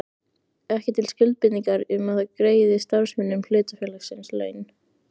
ekki til skuldbindingar um það að greiða starfsmönnum hlutafélagsins laun.